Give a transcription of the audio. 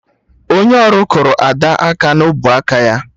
Onye ọrụ kụrụ Ada aka na ubuaka ya